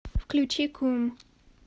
включи кум